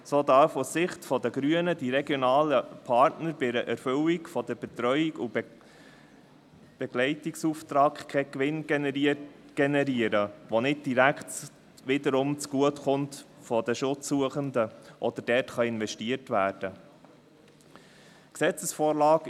So dürfen aus Sicht der Grünen die regionalen Partner bei der Erfüllung des Betreuungs- und Begleitungsauftrags keinen Gewinn generieren, der nicht wiederum direkt den Schutzsuchenden zugutekommt oder dort investiert werden kann.